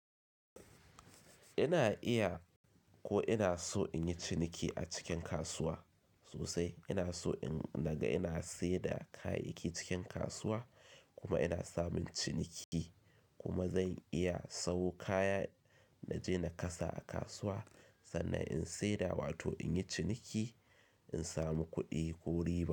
Ina iya ko ina so in yi ciniki a cikin kasuwa sosai. Ina so in naga ina seda kayayyaki cikin kasuwa kuma ina samun ciniki kuma zan iya samo kaya naje na kasa a kasuwa sannan in seda wato in yi ciniki in samu kuɗi ko riba.